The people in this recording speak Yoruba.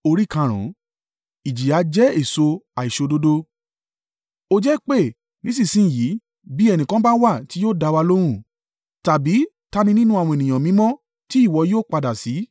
“Ó jẹ́ pé nísinsin yìí bí ẹnìkan bá wà tí yóò dá wa lóhùn? Tàbí ta ni nínú àwọn ènìyàn mímọ́ tí ìwọ ó yípadà sí?